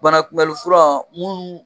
Banakunbɛli fura mun